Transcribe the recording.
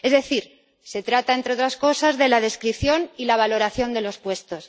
Es decir, se trata, entre otras cosas, de la descripción y la valoración de los puestos.